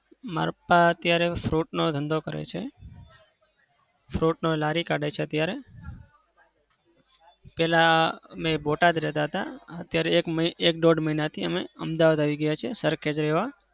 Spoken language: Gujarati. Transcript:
મારા પપ્પા અત્યારે fruit નો ધંધો કરે છે. fruit નો લારી અત્યારે. પેલા અમે બોટાદ રહેતા હતા. અત્યારે એક એક દોઢ મહિનાથી અમદાવાદ આવી ગયા છે સરખેજ રહેવા.